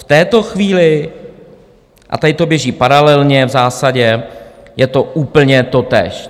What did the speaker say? V této chvíli - a tady to běží paralelně v zásadě - je to úplně totéž.